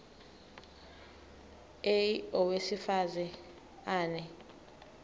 a owesifaz ane